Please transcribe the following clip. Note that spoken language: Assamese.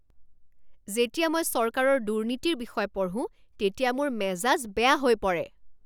যেতিয়া মই চৰকাৰৰ দুৰ্নীতিৰ বিষয়ে পঢ়োঁ তেতিয়া মোৰ মেজাজ বেয়া হৈ পৰে।